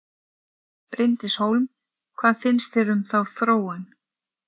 Bryndís Hólm: Hvað finnst þér um þá þróun?